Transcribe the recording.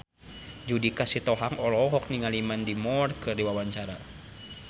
Judika Sitohang olohok ningali Mandy Moore keur diwawancara